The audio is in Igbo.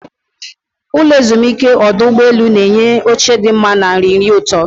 Ụlọ ezumike ọdụ ụgbọ elu na-enye oche dị mma na nri nri ụtọ.